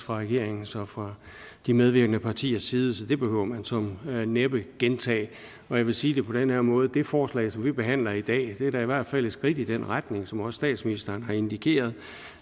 fra regeringens og fra de medvirkende partiers side så det behøver man såmænd næppe gentage jeg vil sige det på den her måde det forslag som vi behandler i dag er da i hvert fald et skridt i den retning som også statsministeren har indikeret